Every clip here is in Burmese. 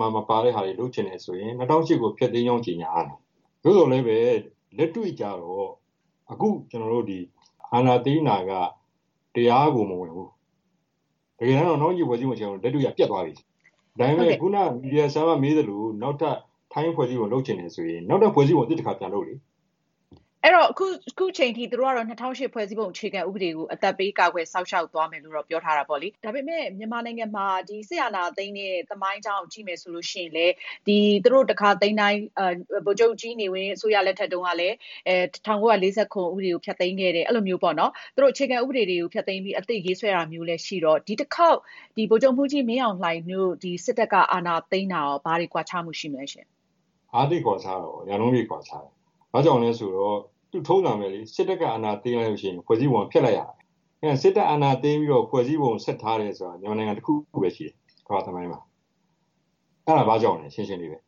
မှာ မပါတဲ့ဟာတွေ လုပ်ချင်တယ်ဆိုရင် ၂၀၀၈ ကို ဖျက်သိမ်းကြောင်း ကြေညာရမှာ။ သို့သော်လည်း လက်တွေ့ကျတော့ အခု ကျနော်တို့ အာဏာသိမ်းတာက တရားကို မဝင်ဘူး။ တကယ်တမ်းတော့ ၂၀၀၈ ဖွဲ့စည်းပုံအခြေခံဥပဒေက လက်တွေ့တော့ ပျက်သွားပြီ ။ ဒါပေမယ့် ခုနက မေးသလို နောက်ထပ် ဖွဲ့စည်းပုံ လုပ်ချင်တယ်ဆိုရင် နောက်ထပ် ဖွဲ့စည်းပုံ အသစ် တခါ ပြန်လုပ်လေ။ စစ်တပ်ကတော့ အခုချိန်ထိ ၂၀၀၈ ဖွဲ့စည်းပုံအခြေခံဥပဒေကို အသက်ပေးကာကွယ်စောင့်ရှောက်သွားမယ်လို့ ပြောထားပါတယ်။ ဒါပေမဲ့ မြန်မာနိုင်ငံမှာ စစ်အာဏာသိမ်းတဲ့ သမိုင်းကြောင်းကိုကြည့်ရင် ဖွဲ့စည်းပုံအခြေခံဥပဒေတွေကို ဖျက်သိမ်းတာတွေ့ရပါတယ်။ ဥပမာ-ဗိုလ်ချုပ်နေဝင်း စစ်အာဏာသိမ်းချိန်မှာ ၁၉၄၇ခုနှစ် ဥပဒေကို ဖျက်သိမ်းခဲ့တာမျိုးပေါ့။ အဲတော့ ဒီတခေါက် စစ်အာဏာသိမ်းတာဟာ အရင် စစ်အာဏာသိမ်းတာမျိုးနဲ့ ဘာကွာသလဲ။ ဒါက သိပ်ကွာခြားတာပေါ့ ရာနှုန်းပြည့် ကွာခြားတယ်။ ဘာကြောင့်လဲဆိုတော့ ထုံးစံပဲလေ စစ်တပ်က အာဏာသိမ်းရင် ဖွဲ့စည်းပုံက ဖျက်လိုက်ရတာပဲ ။ စစ်တပ် အာဏာသိမ်းပြီးတော့ ဖွဲ့စည်းပုံ ဆက်ထားတယ်ဆိုတာက မြန်မာနိုင်ငံတခုပဲရှိတယ် ကမ္ဘာ့သမိုင်းမှာ ။ အဲဒါဘာကြောင့်လဲ ရှင်းရှင်းလေးပဲ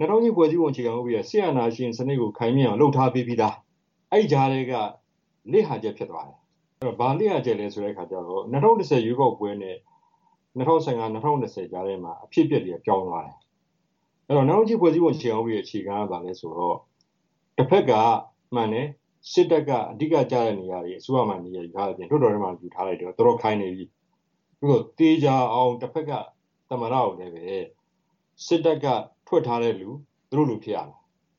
၂၀၀၈ ဖွဲ့စည်းပုံအခြေခံဥပဒေက စစ်အာဏာရှင်စနစ်ကို ခိုင်မြဲအောင်လုပ်ထားပေးပြီးသား ။ အဲဒီကြားထဲက လစ်ဟာချက်ဖြစ်သွားတယ်။ ဘာလစ်ဟာချက်လဲဆိုတော့ ၂၀၁၀ ရွေးကောက်ပွဲနဲ့ ၂၀၁၅-၂၀၂၀ ကြားထဲမှာ အဖြစ်အပျက်တွေက ပြောင်းသွားတယ်။ အဲဒီတော့ ၂၀၀၈ ဖွဲ့စည်းပုံအခြေခံဥပဒေ အခြေခံက ဘာလဲဆိုတော့ တဖက်က မှန်တယ် စစ်တပ်က အဓိက ကျတဲ့နေရာတွေ အစိုးရမှာ နေရာယူထားတယ်၊ လွှတ်တော်ထဲမှာလည်း ယူထားတယ်၊ တော်တော်ခိုင်နေပြီ။ သို့သော် သေချာအောင် တဖက်က သမ္မတကိုလည်း စစ်တပ်က ဖွဲ့ထားတဲ့လူ သူတို့လူ ဖြစ်ရမယ်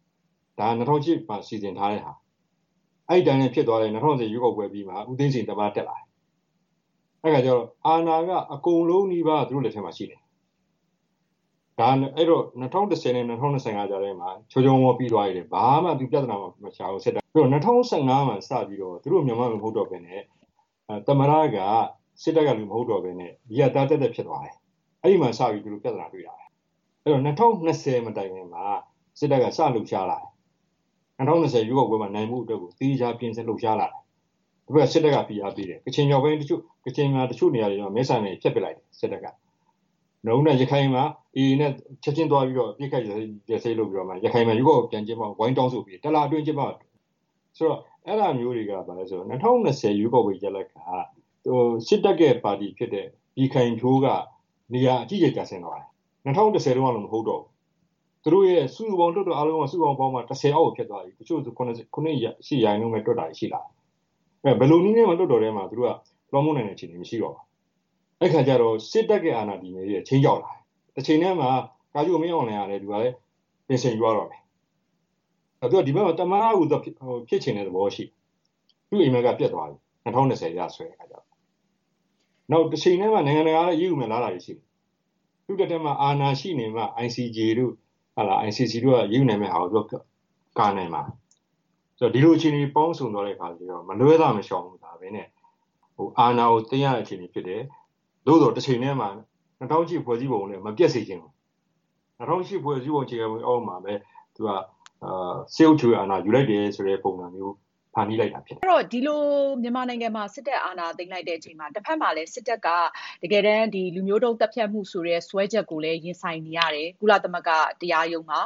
။ ဒါက ၂၀၀၈ မှာ စီစဉ်ထားတဲ့ဟာ အဲဒီအတိုင်းလည်း ဖြစ်သွားတယ် ၂၀၁၀ ရွေးကောက်ပွဲအပြီးမှာ ဦးသိန်းစိန် သမ္မတ တက်လာတယ်။ အဲဒါကျတော့ အာဏာက အကုန်လုံးနီးပါး သူတို့ လက်ထဲမှာ ရှိတယ်။ အဲဒီတော့ ၂၀၁၀-၂၀၁၅ ကြားထဲမှာ ချောချောမောမောပြီးသွားတယ် ဘာမှ ဒီပြဿနာတွေမရှိဘူး ။ အဲဒီတော့ ၂၀၁၅ မှာစပြီးတော့ သူတို့ အရင်တုန်းကလိုမဟုတ်တော့ပဲနဲ့ သမ္မတက စစ်တပ်ကလူ မဟုတ်တော့ပဲနဲ့ အရပ်သား သပ်သပ်ဖြစ်သွားတယ်။ အဲဒီမှာစပြီးတော့ သူတို့ ပြဿနာတွေ့တာပဲ ။ အဲဒီတော့ ၂၀၂၀ မတိုင်ခင်မှာ စစ်တပ်က စလှုပ်ရှားလာတယ်။ ၂၀၂၀ ရွေးကောက်ပွဲမှာ နိုင်ဖို့အတွက်ကို သေချာပြင်ဆင်လှုပ်ရှားလာတယ်။ ပြီးတော့ စစ်တပ်က ဖိအားပေးတယ် ၊ ကချင်တချို့နေရာတွေမှာ မဲဆန္ဒနယ်မြေတွေ ဖျက်ပစ်လိုက်တယ် စစ်တပ်က။ နောက်ပြီးတော့ ရခိုင်မှာ AA နဲ့ ချက်ချင်းအပစ်အခတ်ရပ်စဲရေးတွေလုပ်ပြီးတော့ ရခိုင်မှာ ရွေးကောက်ပွဲပြန်ကျင်းပဖို့ ဝိုင်းတောင်းဆိုပေးတယ် ၁ လအတွင်း ကျင်းပဖို့။ ဆိုတော့ အဲဒါမျိုးတွေကဘာလဲဆိုတော့ ၂၀၂၀ ရွေးကောက်ပွဲရလဒ်က စစ်တပ်ရဲ့ ပါတီဖြစ်တဲ့ ပြည်ခိုင်ဖြိုးက နေရာအကြီးအကျယ်ကျဆင်းသွားတယ်။ ၂၀၁၀ တုန်းကလို မဟုတ်တော့ဘူး။ သူတို့ရဲ့ စုစုပေါင်း လွှတ်တော် အားလုံးပေါင်းမှာ ၁၀ အောက်ကို ဖြစ်သွားပြီ။ တချို့ ဆိုရင် ၇ တို့ ၈ ရာခိုင်နှုန်းတို့လောက်နဲ့တောင် တွက်တာရှိလာတယ်။ ဆိုတော့ ဘယ်လိုနည်းနဲ့မှ လွှတ်တော်အတွင်းကို လွှမ်းမိုးနိုင်တဲ့ အခြေအနေမရှိတော့ဘူး။ အဲဒီအခါကျတော့ စစ်တပ်အာဏာတည်မြဲရေးက ခြိမ်းခြောက်လာတယ်။ တချိန်တည်းမှာ ကာချုပ်မင်းအောင်လှိုင်ကလည်း ပင်စင်ယူရတော့မယ်။ သူက ဒီဘက်မျာ သမ္မတ ဖြစ်ချင်တဲ့ သဘောရှိတယ်။ ဒါပေမယ့် သူ့အိမ်မက်က ပျက်သွားပြီ ၂၀၂၀ အရဆိုရင်။ နောက်တချိန်တည်းမှာ နိုင်ငံတကာက အရေးယူမယ့်အလားအလာတွေရှိနေတယ်။ ICJ တို့ ICC တို့က အရေးယူမှာတွေ လာနိုင်လာတယ်။ ဆိုတော့ ဒီလိုအခြေအနေ ပေါင်းစုံသွားတဲ့အခါ မလွဲသာ မရှောင်သာပဲနဲ့ အာဏာကို သိမ်းရတဲ့ အခြေအနေဖြစ်တယ်။ သို့သော် တချိန်တည်းမှာ ၂၀၀၈ ဖွဲ့စည်းပုံလည်း မပျက်စေချင်ဘူး။ ၂၀၀၈ ဖွဲ့စည်းပုံအခြေခံဥပဒေ အောက်မှာပဲ သူက စစ်အုပ်ချုပ်ရေးအာဏာယူလိုက်တယ် ဆိုတဲ့ ပုံစံမျိုး ဖန်တီးလိုက်တာဖြစ်တယ်။ ဒီလို မြန်မာနိုင်ငံမှာ စစ်တပ်အာဏာသိမ်းလိုက်ချိန်မှာ တဖက်မှာလည်း စစ်တပ်က လူမျိုးတုန်းသတ်ဖြတ်မှု စွဲချက်ကို ကုလသမဂ္ဂ တရားရုံးမှာ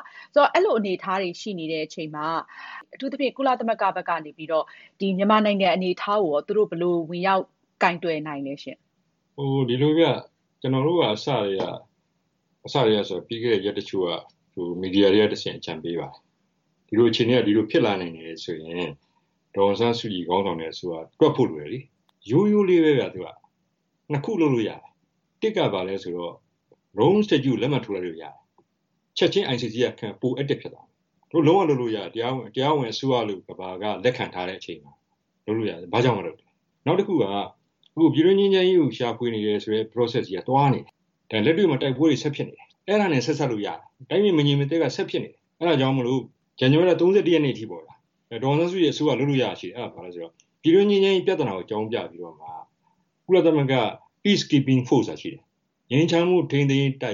ရင်ဆိုင်နေရပါတယ်။ အဲဒီလိုအနေအထားမှာ အထူးသဖြင့် ကုလသမဂ္ဂ ICJ၊ ICC တို့ဘက်က မြန်မာနိုင်ငံရဲ့ လက်ရှိအခြေအနေနဲ့ ပတ်သက်လို့ ဘယ်လိုမျိုး ဝင်ရောက် ဆောင်ရွက်နိုင်သလဲ။ ဒီလိုဗျ ကျနော်တို့က ပြီးခဲ့တဲ့ ရက်တချို့က မီဒီယာတွေကတဆင့် အကြံပေးပါတယ်။ ဒီလိုအခြေအနေက ဒီလိုဖြစ်လာနိုင်တယ်ဆိုတာ အဲလိုဆိုရင် ဒေါ်အောင်ဆန်းစုကြည်ခေါင်းဆောင်တဲ့အစိုးရက သွက်ဖို့လိုတယ်။ ရိုးရိုးလေးပဲဗျ ၂ ခုလုပ်လို့ ရတယ်၊ ၁ က ဘာလဲဆိုတော့ Rome Statute ကို လက်မှတ်ထိုးလိုက်လို့ရတယ်။ ချက်ချင်း ICJ ကလုပ်ရင် ပို active ဖြစ်သွားမယ်။ သူတို့လုံးဝလုပ်လို့ရတယ် တရားဝင်အစိုးရလို့ ကမ္ဘာက လက်ခံထားတဲ့အချိန်မှာ လုပ်လို့ရတယ် ဘာကြောင့်မလုပ်တာလဲ။ နောက်တခုက အခုပြည်တွင်းငြိမ်းချမ်းရေးကို ရှာဖွေနေတဲ့ Process ကြီးက သွားနေတယ်။ ဒါလက်တွေ့မှာ တိုက်ပွဲတွေ ဆက်ဖြစ်နေတယ်။ အဲဒါနဲ့ ဆက်စပ်လို့ရတယ် တိုင်းပြည်မငြိမ်မသက်က ဆက်ဖြစ်နေတယ်။ အဲဒါကြောင့်မို့ ဇန်နဝါရီလ ၃၁ ရက်နေ့အထိပေါ့ဗျာ ဒေါ်အောင်ဆန်းစုကြည် အစိုးရ လုပ်လို့ရတာရှိတယ် အဲဒါဘာလဲဆိုတော့ ပြည်တွင်းငြိမ်းချမ်းရေးပြဿနာကို အကြောင်းပြပြီးတော့ ကုလသမဂ္ဂ Peacekeeping force ဆိုတာရှိတယ်။ ငြိမ်းချမ်းမှုထိန်းသိမ်းရေးတ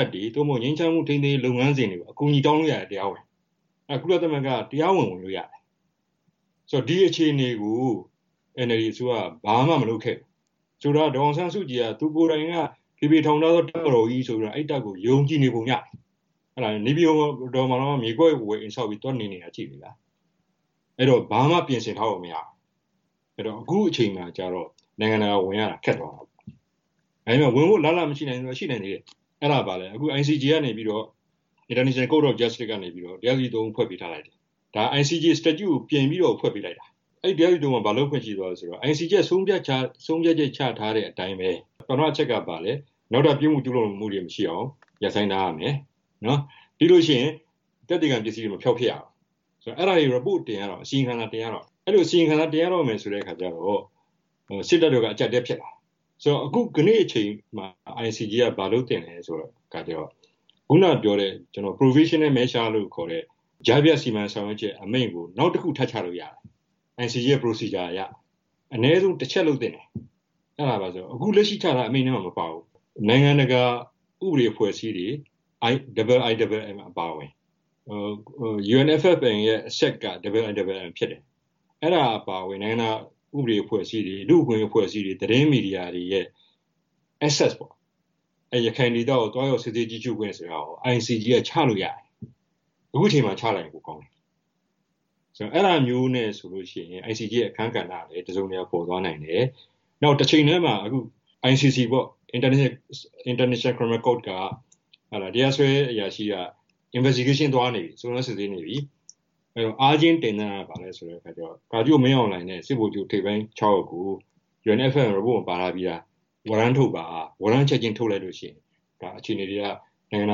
ပ်တွေ၊ ငြိမ်းချမ်းမှုထိန်းသိမ်းရေး လုပ်ငန်းစဉ်တွေကို အကူအညီတောင်းလို့ရတယ် တရားဝင်ပေါ့။ အဲဒါ ကုလသမဂ္ဂက တရားဝင် ဝင်လို့ရတယ်။ ဆိုတော့ ဒီအခြေအနေကို NLD အစိုးရက ဘာမှ မလုပ်ခဲ့ဘူး။ ဆိုတော့ ဒေါ်အောင်ဆန်းစုကြည်က သူကိုယ်တိုင်က ဖေဖေထောင်ထားသော တပ်မတော်ကြီးဆိုပြီးတော့ ယုံကြည်နေပုံရတယ်။ နေပြည်တော်မှာတောင်မှ မြေကွက်ဝယ်အိမ်ဆောက်ပြီး သွားနေနေတာ ကြည့်လေဗျာ။ အဲဒီတော့ ဘာမှ ပြင်ဆင်ထားပုံမရဘူး။ အခုအချိန်မှာတော့ နိုင်ငံတကာ ဝင်ရတာ ခက်သွားရော။ ဝင်ဖို့ အလားအလာမရှိဘူးလားဆိုတော့ ရှိသေးတယ် ။ အဲဒါဘာလဲဆိုတော့ICJ ကနေပြီးတော့ တရားသူကြီး ၃ ဦးဖွဲ့ပေးထားလိုက်တယ်။ ဒါက ICJ statute ကို ပြည်ပြီးတော့ ဖွဲ့ပေးလိုက်တာ။ အဲဒီ တရားသူကြီး ၃ ဦးက ဘာလုပ်ခွင့်ရှိသွားသလဲဆိုတော့ ICJ ဆုံးဖြတ်ချက်ချထားတဲ့အတိုင်းပဲ ပထမအချက်ကဘာလဲ နောက်ထပ်ပြစ်မှုကျူးလွန်မှုတွေ မရှိအောင် ရပ်ဆိုင်းထားရမယ်၊ ပြီးရင် သက်သေခံ ပစ္စည်းတွေ မဖျောက်ပစ်ရဘူး ဆိုတော့ အဲဒါတွေ အစီရင်ခံစာတွေ တင်ရတော့မယ်။ အဲဒီလို အစီရင်ခံစာတွေ တင်ရတော့မယ်ဆိုတဲ့အခါကျတော့ စစ်တပ်ဘက်က အကျပ်အတည်းဖြစ်လာတယ်။ ဆိုတော့ ယနေ့အချိန်မှာ ICJ က ဘာလုပ်သင့်သလဲဆိုတော့ ခုနပြောတဲ့ Provisional Measure လို့ခေါ်တဲ့ ကြားဖြတ်စီမံဆောင်ရွက်ချက် အမိန့်ကို နောက်တခု ထပ်ချလို့ရတယ် ICJ ရဲ့ လုပ်ထုံးလုပ်နည်းအရ။ အနည်းဆုံး တချက်လုပ်သင့်တယ် အဲဒါဘာလဲဆိုတော့ အခုလက်ရှိချထားတဲ့ အမိန့်ထဲမှာ မပါဘူး။ နိုင်ငံတကာ ဥပဒေအဖွဲ့အစည်းတွေ IIMM အပါအဝင် UNFFM ရဲ့ အဆက်က IIMM ဖြစ်တယ်။ အဲဒါ အပါအဝင် နိုင်ငံတကာ ဥပဒေအဖွဲ့အစည်းတွေ ၊ လူ့အခွင့်အရေးအဖွဲ့အစည်းတွေ၊ သတင်းမီဒီယာတွေရဲ့ access ပေါ့ ၊ ရခိုင်ဒေသကို သွားရောက်ကြည့်ရှုစစ်ဆေးခွင့်ဆိုတာကို ICJ က ချလို့ရတယ်။ အခုအချိန်မှာ ချလိုက်ရင် ပိုကောင်းတယ် ။ ဆိုတော့ အဲဒါမျိုးနဲ့ဆိုရင် ICJ ရဲ့ အခန်းကဏ္ဍကလည်း တစုံတရာ ပေါ်သွားမယ် ။ နောက်တချိန်တည်းမှာ ICC တရားစွဲအရာရှိက စုံစမ်းစစ်ဆေးနေပြီ။ ကာချုပ်မင်းအောင်လှိုင်နဲ့ စစ်ဗိုလ်ချုပ် ထိပ်ပိုင်း ၆ ယောက်ကို UNFFM မှာ ပါထားပြီးသား ဝရမ်းထုတ်လိုက်ပါ။ ဝရမ်းထုတ်လိုက်ရင် အခြေအနေတွေက နိုင်ငံတ